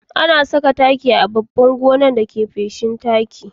Ana sa taki a babban gonake da feshin taki.